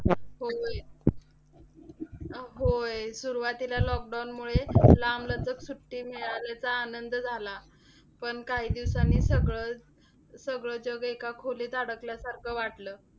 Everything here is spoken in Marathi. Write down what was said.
होय. सुरुवातीला lockdown मुळे लांबलचक सुट्टी मिळाल्याचा आनंद झाला, पण काही दिवसांनी सगळं सगळं जग एका खोलीत अडकल्यासारखं वाटलं.